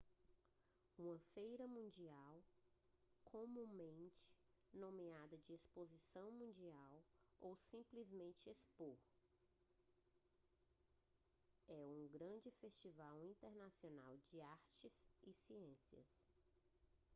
uma feira mundial comumente nomeada de exposição mundial ou simplesmente expo é um grande festival internacional de artes e ciências